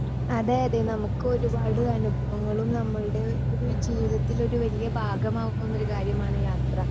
Speaker 2 അതെ അതെ നമുക്ക് ഒരുപാട് അനുഭവങ്ങളും നമ്മളുടെ ഒരു ജീവിതത്തിൽ ഒരു വലിയ ഭാഗമാകുന്നന്നൊരു കാര്യമാണ് യാത്ര.